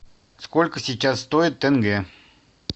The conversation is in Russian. сколько сейчас стоит тенге